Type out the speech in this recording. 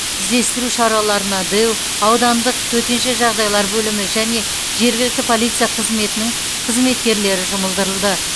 іздестіру шараларына дэу аудандық төтенше жағдайлар бөлімі және жергілікті полиция қызметінің қызметкерлері жұмылдырылды